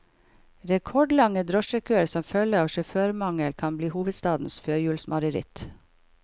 Rekordlange drosjekøer som følge av sjåførmangel kan bli hovedstadens førjulsmareritt.